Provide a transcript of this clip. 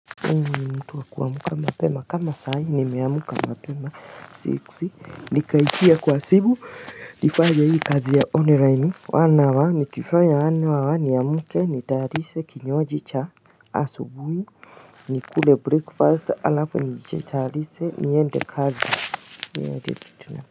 Mtu wa kuamka mapema kama saa hii nimeamka mapema six nikaingia kwa simu nifanye hii kazi ya online one hour nikifanya one hour niamke nitayarishe kinywaji cha asubuhi nikule breakfast alafu niji tayarishe niende kazi hii ndo kitu nafanya.